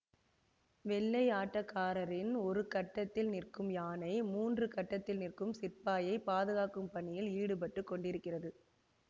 வெள்ளை ஆட்டக்காரரின் ஒரூ கட்டத்தில் நிற்கும் யானை மூன்று கட்டத்தில் நிற்கும் சிப்பாயை பாதுகாக்கும் பணியில் ஈடுபட்டுக் கொண்டிருக்கிறது